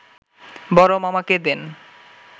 বড় মামাকে দেন